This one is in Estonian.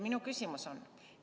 Minu küsimus on selline.